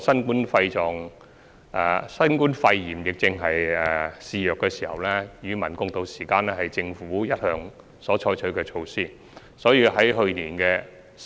現時新冠肺炎疫症肆虐，與民共渡時艱是政府一直採取的措施。